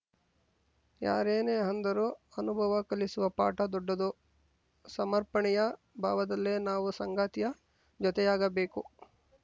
ಯಾರೇನೇ ಅಂದರೂ ಅನುಭವ ಕಲಿಸುವ ಪಾಠ ದೊಡ್ಡದು ಸಮರ್ಪಣೆಯ ಭಾವದಲ್ಲೇ ನಾವು ಸಂಗಾತಿಯ ಜೊತೆಯಾಗಬೇಕು